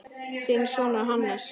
Þinn sonur, Hannes.